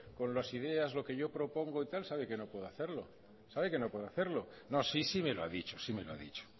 con las ideas lo que yo propongo y tal sabe que no puedo hacerlo sabe que no puedo hacerlo no sí sí me lo ha dicho sí me lo ha dicho